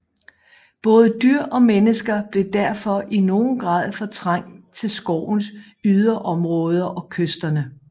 Både dyr og mennesker blev derfor i nogen grad fortrængt til skovens yderområder og kysterne